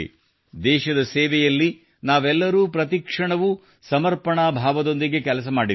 ದೇಶದ ಸೇವೆಯಲ್ಲಿ ನಾವೆಲ್ಲರೂ ಪ್ರತಿಕ್ಷಣವೂ ಸಮರ್ಪಣಾ ಭಾವದೊಂದಿಗೆ ಕೆಲಸ ಮಾಡಿದ್ದೇವೆ